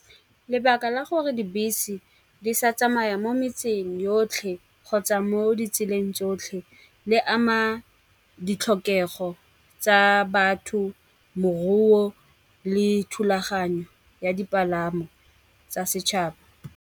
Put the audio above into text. Lebaka la gore dibese di sa tsamaya mo metseng yotlhe, kgotsa mo ditseleng tsotlhe le ama ditlhokego tsa batho, moruo le thulaganyo ya dipalamo tsa setšhaba.